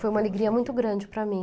Foi uma alegria muito grande para mim.